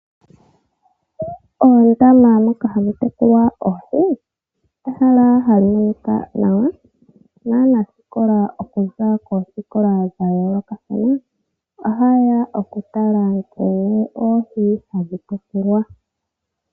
Oondama moka hamu tekulwa oohi, ehala hali monika nawa naanasikola okuza koosikola dhayoolokathana ohayeya okutala nkene oohi hadhi tekulwa.